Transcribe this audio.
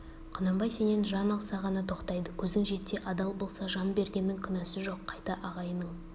құнанбай сенен жан алса ғана тоқтайды көзің жетсе адал болса жан бергеннің күнәсі жоқ қайта ағайының